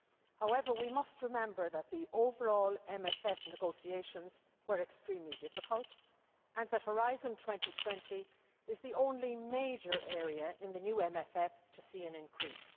However, we must remember that the overall MFF negotiations were extremely difficult and that Horizon 2020 is the only major area in the new MFF to see an increase.